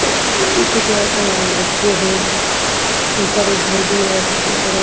कुछ आदमी कुछ औरतें और बच्चे हैं ऊपर एक घर भी है बगल--